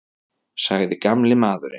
sagði gamli maðurinn.